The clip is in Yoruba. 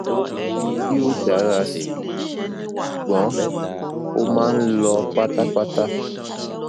o yoo dara si ṣugbọn o maa n lọ patapata